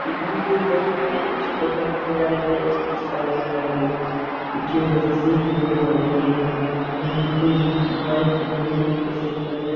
इस घर को बहुत अच्छे प्रकार से सजाया गया है। सितारे लगाए गए है कुछ रस्सीयो के द्वारा बनाया गया है। यहाँ पर कोई माइक पर बोलने की कोशिश कर रहे --